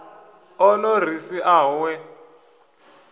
o no ri siaho we